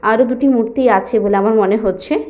আরো দুটি মূর্তি আছে বলে আমার মনে হচ্ছে।